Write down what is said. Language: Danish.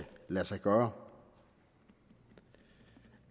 lade sig gøre